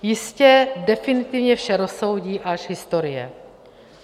Jistě definitivně vše rozsoudí až historie.